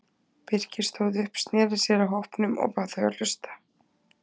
Birkir stóð upp, sneri sér að hópnum og bað þau að hlusta.